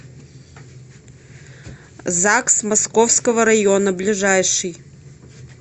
загс московского района ближайший